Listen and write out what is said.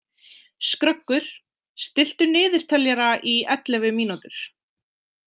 Skröggur, stilltu niðurteljara í ellefu mínútur.